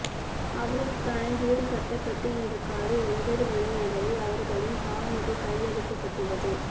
அவர்களுக்கான வீடு கட்டப்பட்டு இன்று காலை ஒன்பது மணியளவில் அவர்களின் பாவனைக்கு கையளிக்கப்பட்டுள்ளது